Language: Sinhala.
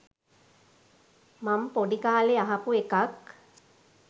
මං පොඩි කාලේ අහපු එකක්